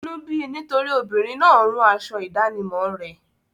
Inú bí i nítorí obìnrin náà rún aṣọ ìdánimọ̀ rẹ.